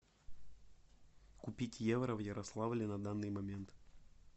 купить евро в ярославле на данный момент